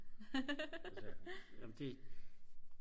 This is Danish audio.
jamen det